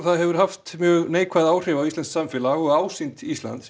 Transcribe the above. hefur haft neikvæð áhrif á íslenskt samfélag og ásýnd Íslands